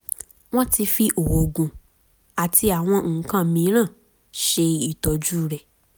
wọ́n ti fi oògùn àti àwọn nǹkan miìíràn ṣe ìtọ́jú rẹ̀